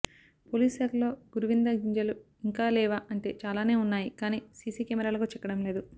police శాఖలో గురువింద గింజలు ఇంకా లేవా అంటే చాలానే వున్నాయి కానీ సిసి కెమెరాలకు చిక్కడం లేదు